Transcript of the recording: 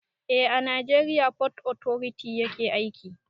Eh a najeriya fot otoriti yake aiki